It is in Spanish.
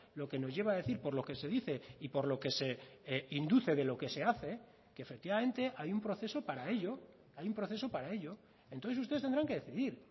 lo que nos lleva a decir por lo que se dice y por lo que se induce de lo que se hace que efectivamente hay un proceso para ello hay un proceso para ello entonces ustedes tendrán que decidir